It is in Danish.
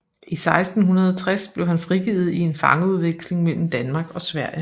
I 1660 blev han frigivet i en fangeudveksling mellem Danmark og Sverige